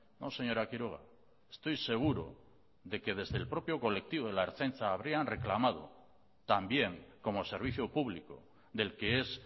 no señora quiroga estoy seguro de que desde el propio colectivo de la ertzaintza habrían reclamado también como servicio público del que es